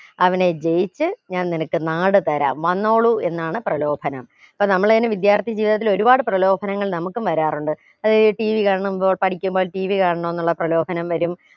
അവനെ ജയിച്ച് ഞാൻ നിനക്ക് നാട് തരാം വന്നോളൂ എന്നാണ് പ്രലോഭനം അപ്പൊ നമ്മളയിനി വിദ്യാർത്ഥി ജീവിതത്തിൽ ഒരുപാട് പ്രലോഭനങ്ങൾ നമുക്കും വരാറുണ്ട് ഏർ ഈ TV കാരണം ഏർ പഠിക്കുമ്പോ TV കാണണൊന്നുള്ള പ്രലോഭനം വരും